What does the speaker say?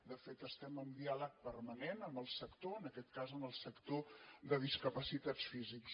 de fet estem en diàleg permanent amb el sector en aquest cas amb el sector de discapacitats físics